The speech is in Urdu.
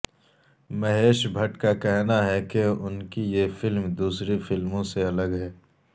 مہیش بھٹ کا کہنا ہے کہ ان کی یہ فلم دوسری فلموں سے الگ ہے